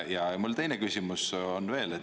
Ja mul teine küsimus on veel.